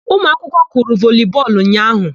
Umụakwụkwọ kụrụ volii bọọlụ ụnyaahụ.